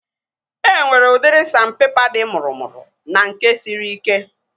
E nwere udiri sandpepa dị mụrụmụrụ na nke siri ike